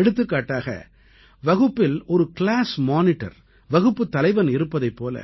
எடுத்துக்காட்டாக வகுப்பில் ஒரு கிளாஸ் மானிட்டர் வகுப்புத் தலைவன் இருப்பதைப் போல